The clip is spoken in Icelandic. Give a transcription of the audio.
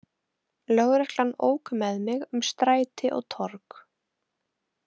Lögreglan ók með mig um stræti og torg.